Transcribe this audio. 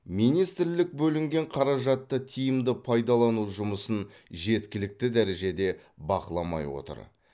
министрлік бөлінген қаражатты тиімді пайдалану жұмысын жеткілікті дәрежеде бақыламай отыр